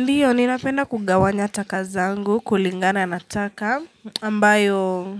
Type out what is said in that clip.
Ndiyo ni napenda kugawanya takazangu kulingana na taka ambayo